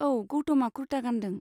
औ, गौतमआ कुर्ता गानदों।